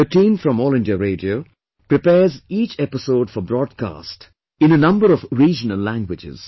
The team from All India Radio prepares each episode for broadcast in a number of regional languages